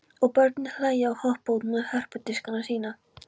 Og börnin hlæja og hoppa út með hörpudiskana sína.